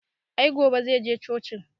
I gobe zai je cocin